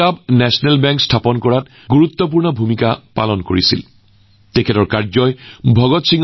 তেওঁৰ উদ্দেশ্য কেৱল বিদেশীক দেশৰ পৰা বহিষ্কাৰ কৰাই নহয় দেশক অৰ্থনৈতিক শক্তি প্ৰদানৰ দৃষ্টিভংগীও তেওঁৰ চিন্তাৰ এক গুৰুত্বপূৰ্ণ অংশ আছিল